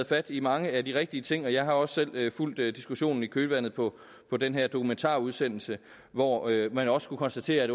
fat i mange af de rigtige ting jeg har også selv fulgt diskussionen i kølvandet på på den her dokumentarudsendelse hvor man også kunne konstatere at